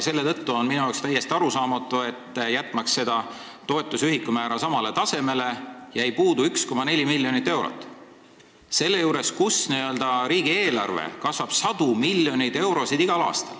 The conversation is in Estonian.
Seetõttu on minu jaoks täiesti arusaamatu, et selle toetuse ühikumäära samale tasemele jätmiseks jäi puudu 1,7 miljonit eurot, kuigi riigieelarvesse tuleb igal aastal juurde sadu miljoneid eurosid.